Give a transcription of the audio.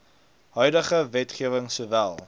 huidige wetgewing sowel